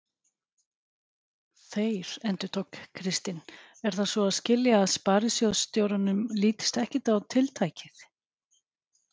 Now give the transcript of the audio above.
Þeir, endurtók Kristinn, er það svo að skilja að sparisjóðsstjóranum lítist ekkert á tiltækið?